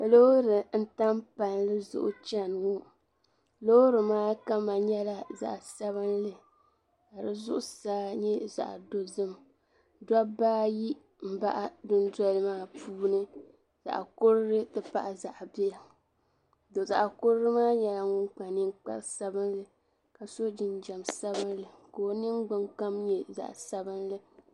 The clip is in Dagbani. Loori n-tam palli zuɣu chani ŋɔ. Loori maa kama nyɛla zaɣ' sabilinli ka di zuɣusaa nyɛ zaɣ' dozim. Dɔbaa ayi m-baɣi dundoli maa puuni. Zaɣ' kurili nti pahi zaɣ' bila. Tɔ zaɣ' kurili maa nyɛla ŋun kpa niŋkpar' sabilinli ka so jinjam sabilinli ka o niŋgbuŋgbaŋ nyɛ zaɣ' sabilinli.